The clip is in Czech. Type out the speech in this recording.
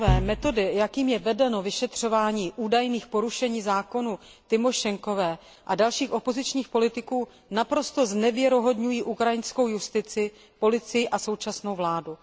Pane předsedající, metody, jakými je vedeno vyšetřování údajných porušení zákonů ze strany paní Tymošenkové a dalších opozičních politiků, naprosto znevěrohodňují ukrajinskou justici, policii a současnou vládu.